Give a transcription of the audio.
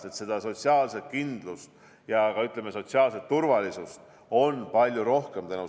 Tänu sellele on seda sotsiaalset kindlust ja, ütleme, sotsiaalset turvalisust on palju rohkem.